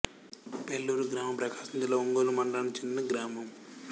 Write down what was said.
పెళ్లూరు గ్రామీణ ప్రకాశం జిల్లా ఒంగోలు మండలానికి చెందిన గ్రామం